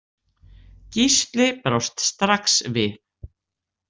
Gísli brást strax við.